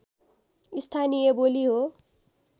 स्थानीय बोली हो